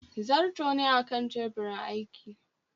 zarto ne a Kan teburin aiki